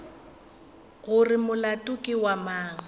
gore molato ke wa mang